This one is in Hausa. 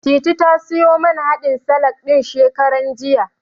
Titi ta siyo man haɗin salak ɗin, shekaran jiya.